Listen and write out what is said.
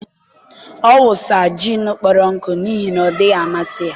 ọ wụsa gin kpọrọ nkụ n'ihi na ọ dịghị amasị ya